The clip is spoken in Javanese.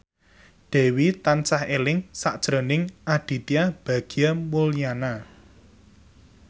Dewi tansah eling sakjroning Aditya Bagja Mulyana